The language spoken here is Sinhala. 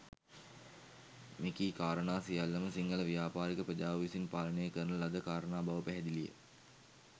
මෙකී කාරණා සියල්ලම සිංහල ව්‍යාපාරික ප්‍රජාව විසින් පාලනය කරන ලද කාරණා බව පැහැදිලි ය.